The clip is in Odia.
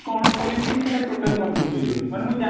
ସେଇଟା total confuse ହେଇ ଯାଉଛି ମାନେ ମୁଁ